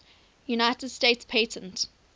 united states patent